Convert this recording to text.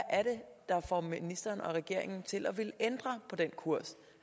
derfor ministeren og regeringen til at ville ændre på den kurs